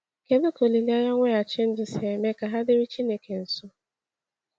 Kedu ka olileanya mweghachi ndụ si eme ka ha dịrị Chineke nso?